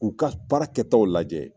K'u ka baarakɛtaw lajɛ